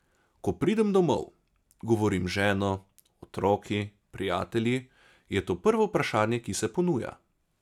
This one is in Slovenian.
Ko pridem domov, govorim z ženo, otroki, prijatelji, je to prvo vprašanje, ki se ponuja.